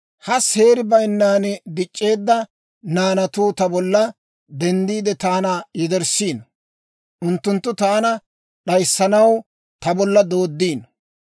Ha seeri bayinnan dic'c'eedda naanatuu ta bolla denddiide, taana yederssiino; unttunttu taana d'ayissanaw ta bolla doodiino.